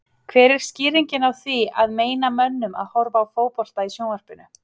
Hver er skýringin á því að meina mönnum að horfa á fótbolta í sjónvarpinu?